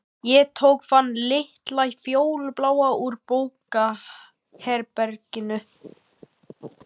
Ég tók þann litla fjólubláa úr bókaherberginu.